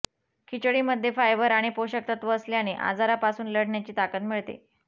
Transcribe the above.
खिचडीमध्ये फायबर आणि पोषक तत्त्व असल्याने आजारापासून लढण्याची ताकद मिळते